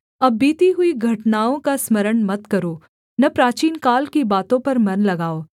अब बीती हुई घटनाओं का स्मरण मत करो न प्राचीनकाल की बातों पर मन लगाओ